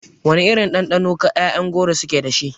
Wana irin ɗanɗano ƴaƴan goro su ke dashi?